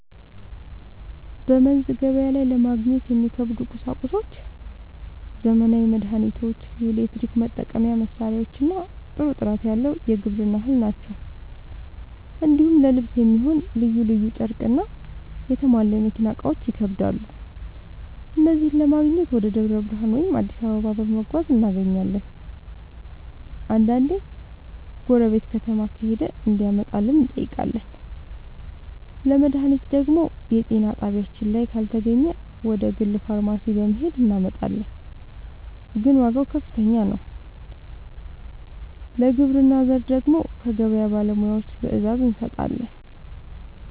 በመንዝ ገበያ ላይ ለማግኘት የሚከብዱ ቁሳቁሶች ዘመናዊ መድሃኒቶች፣ የኤሌክትሪክ መጠቀሚያ መሳሪያዎችና ጥሩ ጥራት ያለው የግብርና ᛢል ናቸው። እንዲሁም ለልብስ የሚሆን ልዩ ልዩ ጨርቅና የተሟላ የመኪና እቃዎች ይከብዳሉ። እነዚህን ለማግኘት ወደ ደብረ ብርሃን ወይም አዲስ አበባ በመጓዝ እናገኛለን፤ አንዳንዴ ጎረቤት ከተማ ከሄደ እንዲያመጣልን እንጠይቃለን። ለመድሃኒት ደግሞ የጤና ጣቢያችን ላይ ካልተገኘ ወደ ግል ፋርማሲ በመሄድ እናመጣለን፤ ግን ዋጋው ከፍተኛ ነው። ለግብርና ዘር ደግሞ ከገበያ ባለሙያዎች ትዕዛዝ እንሰጣለን።